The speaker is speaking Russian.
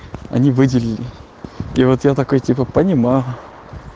они выделили и вот я такой типа понимаю